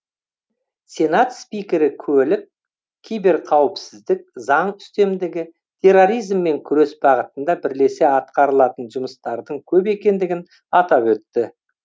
сенат спикері көлік киберқауіпсіздік заң үстемдігі терроризммен күрес бағытында бірлесе атқарылатын жұмыстардың көп екендігін атап өтті